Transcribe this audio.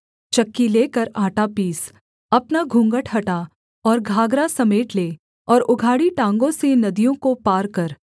चक्की लेकर आटा पीस अपना घूँघट हटा और घाघरा समेट ले और उघाड़ी टाँगों से नदियों को पार कर